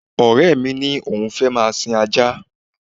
Ọ̀rẹ́ mi ni òun fẹ́ máa sin ajá